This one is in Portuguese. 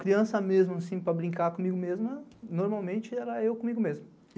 Criança mesmo, assim, para brincar comigo mesmo, normalmente era eu comigo mesmo.